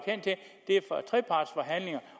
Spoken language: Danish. trepartsforhandlinger